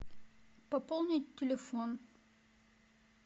пополнить телефон